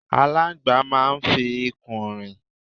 Aláńgbàá máa ń fi ikùn rìn.